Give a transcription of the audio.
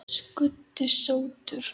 Skundi sóttur